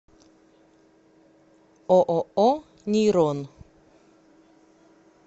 ооо нейрон